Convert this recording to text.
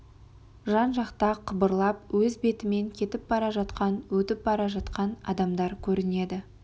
жан-жақта қыбырлап өз бетімен кетіп бара жатқан өтіп бара жатқан адамдар көрінеді